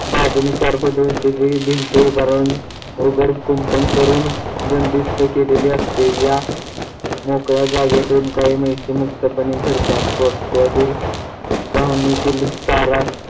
बाजुंनी चार फूट उंचीची भिंत उभारून अवघड कुंपण करून बंदिस्त केलेले असते या मोकळ्या जागेतून काही म्हशी मुक्तपणे फिरतात गोठ्यातील गव्हाणीतील चारा